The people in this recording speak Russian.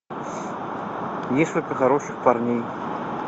несколько хороших парней